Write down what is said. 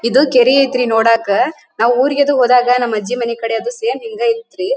ಇದು ಕೆರೆ ಐತೆ ನೋಡಕ್ಕೆ ನಾವು ಊರಿಗೆ ಹೋದಾಗ ನಮ್ ಅಜ್ಜಿ ಕಡೆ ಸೇಮ್ ಹಿಂಗೇ ಇತ್ತ್ ರೀ.